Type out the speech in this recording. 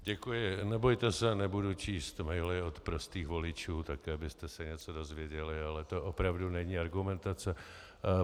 Děkuji, nebojte se, nebudu číst maily od prostých voličů, také abyste se něco dozvěděli, ale to opravdu není argumentace.